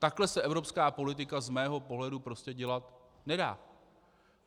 Takhle se evropská politika z mého pohledu prostě dělat nedá.